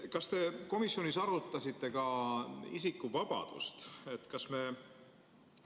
Kas te komisjonis arutasite ka isikuvabadust?